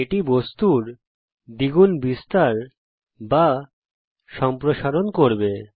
এটি বস্তুর দ্বিগুণ বিস্তার বা সম্প্রসারন করবে